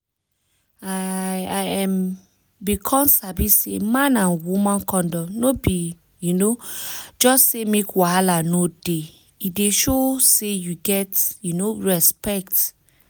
i um bin come sabi say man and woman condom no be um just say make wahala no dey e dey show say you get um respect.